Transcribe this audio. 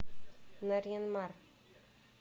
нарьян мар